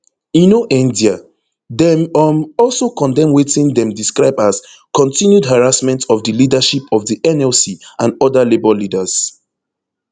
e no end dia dem um also condemn wetin dem describe as continued harassment of di leadership of di nlc and oda labour leaders